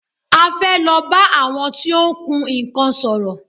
A fẹ́ lọ bá àwọn tí ó ń kun nnkan sòrò.